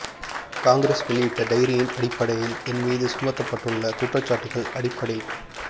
காங்கிரஸ் வெளியிட்ட டைரியின் அடிப்படையில் என் மீது சுமத்தப்பட்டுள்ள குற்றச்சாட்டுகள் அடிப்படை